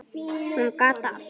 Hún gat allt.